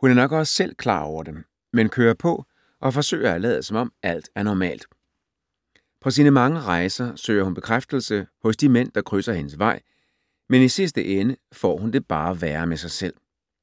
Hun er nok også selv klar over det, men kører på og forsøger at lade som om, alt er normalt. På sine mange rejser søger hun bekræftelse hos de mænd, der krydser hendes vej, men i sidste ende får hun det bare værre med sig selv.